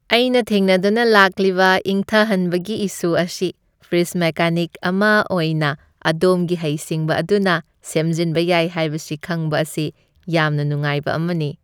ꯑꯩꯅ ꯊꯦꯡꯅꯗꯨꯅ ꯂꯥꯛꯂꯤꯕ ꯏꯪꯊꯍꯟꯕꯒꯤ ꯏꯁꯨ ꯑꯁꯤ ꯐ꯭ꯔꯤꯖ ꯃꯦꯀꯥꯅꯤꯛ ꯑꯃ ꯑꯣꯏꯅ ꯑꯗꯣꯝꯒꯤ ꯍꯩꯁꯤꯡꯕ ꯑꯗꯨꯅ ꯁꯦꯝꯖꯤꯟꯕ ꯌꯥꯏ ꯍꯥꯏꯕꯁꯤ ꯈꯪꯕ ꯑꯁꯤ ꯌꯥꯝꯅ ꯅꯨꯡꯉꯥꯏꯕ ꯑꯃꯅꯤ꯫